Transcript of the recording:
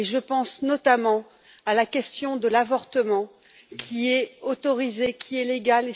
Je pense notamment à la question de l'avortement, qui est autorisé et légal.